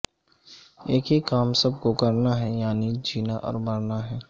ایک ہی کام سب کو کرنا ہے یعنی جینا اور مرنا ہے